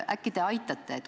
Äkki te aitate?